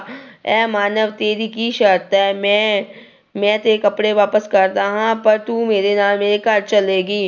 ਹੇ ਮਾਨਵ ਤੇਰੀ ਕੀ ਸਰਤ ਹੈ? ਮੈਂ ਮੈਂ ਤੇਰੇ ਕੱਪੜੇ ਵਾਪਸ ਕਰਦਾਂ ਹਾਂ ਪਰ ਤੂੰ ਮੇਰੇ ਨਾਲ ਮੇਰੇ ਘਰ ਚੱਲੇਗੀ।